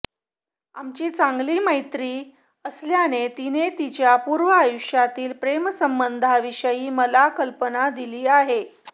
आमची चांगली मैत्री असल्याने तिने तिच्या पूर्व आयुष्यातील प्रेमसंबंधाविषयी मला कल्पना दिली आहे